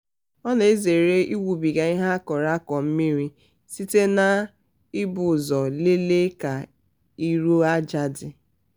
ọ na-ezere ịwụbiga ihe a kọrọ akọ mmiri site n'ibu ụzọ lelee ka iru aja dị.